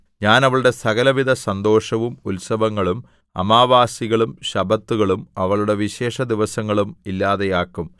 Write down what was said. ഞാൻ അവളുടെ സകലവിധ സന്തോഷവും ഉത്സവങ്ങളും അമാവാസികളും ശബ്ബത്തുകളും അവളുടെ വിശേഷദിവസങ്ങളും ഇല്ലാതെയാക്കും